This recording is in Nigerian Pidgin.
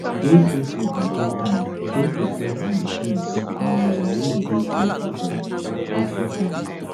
dey grateful and take time take reflect on di things um wey you dey greatful for greatful for